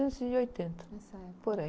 mil novecentos e oitenta, por aí.